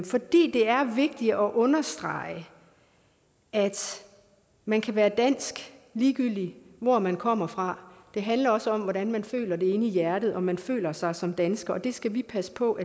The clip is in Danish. fordi det er vigtigt at understrege at man kan være dansk ligegyldig hvor man kommer fra det handler også om hvordan man føler det inde i hjerte altså om man føler sig som dansker og det skal vi passe på